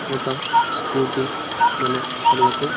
ఒక స్కూటీ మన కళ్లకు--